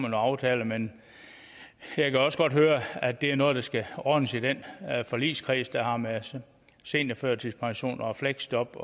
en aftale men jeg kan også godt høre at det er noget der skal ordnes i den forligskreds der har med seniorførtidspension og fleksjob